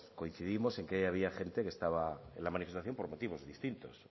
coincidimos en que hay había gente que estaba en la manifestación por motivos distintos